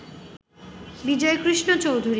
Bijoykrishna Chowdhury